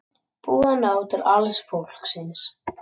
Búið að ná til alls fólksins